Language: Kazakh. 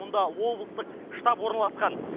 мұнда облыстық штаб орналасқан